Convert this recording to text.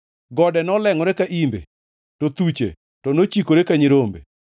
gode nolengʼore ka imbe, to thuche to nochikore ka nyirombe.